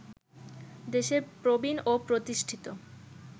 দেশের প্রবীণ ও প্রতিষ্ঠিত